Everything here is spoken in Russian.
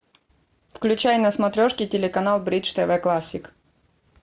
включай на смотрешке телеканал бридж тв классик